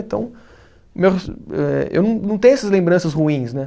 Então, eu eh, eu não não tenho essas lembranças ruins, né?